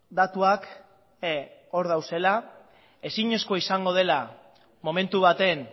datuak hor daudela ezinezkoa izango dela momentu baten